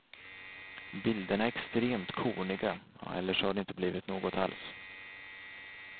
Bilderna är extremt korniga eller så har det inte blivit något alls.